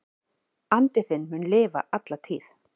Andi þinn mun lifa alla tíð.